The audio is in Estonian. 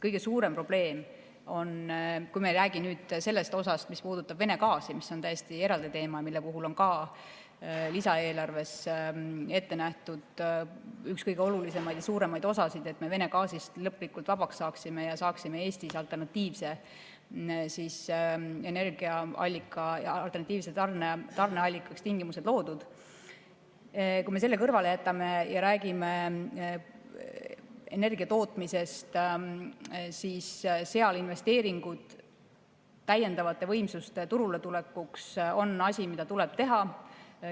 Kõige suurem probleem on, kui me ei räägi sellest osast, mis puudutab Vene gaasi, mis on täiesti eraldi teema, mille puhul on ka lisaeelarves ette nähtud üks kõige olulisemaid ja suuremaid osasid, et me Vene gaasist lõplikult vabaks saaksime ja saaksime Eestis alternatiivseks tarneallikaks tingimused loodud, kui me selle kõrvale jätame ja räägime energia tootmisest, siis seal investeeringud täiendavate võimsuste turuletulekuks on asi, mida tuleb teha.